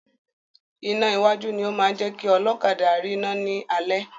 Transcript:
Iná iwájú ni o máa ń jẹ́ kí ọlọ́kadà rina ni alẹ́.